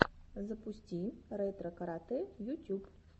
запусти ретро карате ютюб